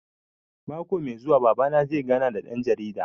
Mako mai zuwa Baba na zai gana da ɗan jarida